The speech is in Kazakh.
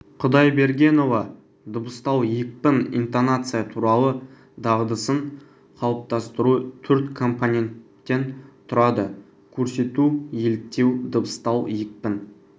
құдайбергенова дыбыстау екпін интонация туралы дағдысын қалыптастыру төрт компоненттен тұрады көрсету еліктеу дыбыстау екпін